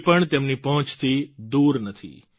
કંઈપણ તેમની પહોંચથી દૂર નથી